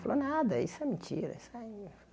Falou, nada, isso é mentira. Isso aí é